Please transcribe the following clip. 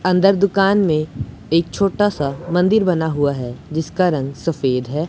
अंदर दुकान में एक छोटा सा मंदिर बना हुआ हैं जिसका रंग सफेद हैं।